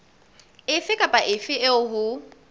efe kapa efe eo ho